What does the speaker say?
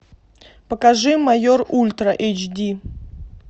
покажи майор ультра эйч ди